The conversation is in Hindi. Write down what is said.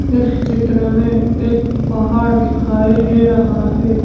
इस चित्र में एक पहाड़ दिखाई दे रहा हैं।